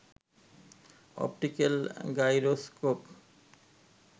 optical gyroscope